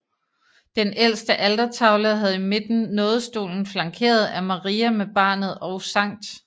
Den ældre altertavle havde i midten nådestolen flankeret af Maria med barnet og Skt